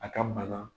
A ka bana